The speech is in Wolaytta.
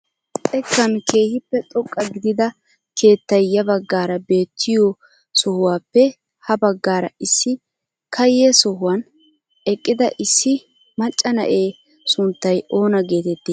Xeekkan keehippe xoqqa gidida keettay ya baggaara beettiyoo sohuwaappe ha baggaara issi kaye sohuwaan eqqida issi macca na'ee sunttay oona getettii?